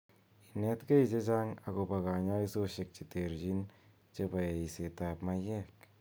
Inet �ge che chang' akopa kanyaishoshek chertin chebo eisetap maiyek